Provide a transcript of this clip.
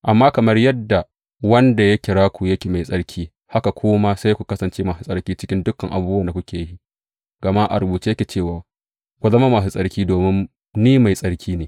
Amma kamar yadda wanda ya kira ku yake mai tsarki, haka ku ma sai ku kasance masu tsarki cikin dukan abubuwan da kuke yi; gama a rubuce yake cewa, Ku zama masu tsarki, domin ni mai tsarki ne.